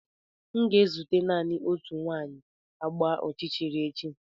M ga-ezute naanị otu nwanyị agba ọchịchịrị echi.